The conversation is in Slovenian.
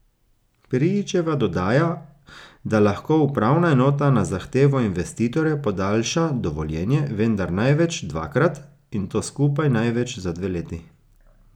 Prijičeva dodaja, da lahko upravna enota na zahtevo investitorja podaljša dovoljenje, vendar največ dvakrat, in to skupaj največ za dve leti.